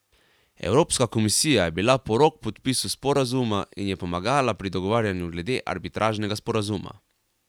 Evropska komisija je bila porok podpisu sporazuma in je pomagala pri dogovarjanju glede arbitražnega sporazuma.